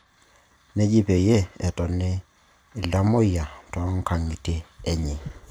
Neji peyie etoni iltamuoyia too nkang'itie enye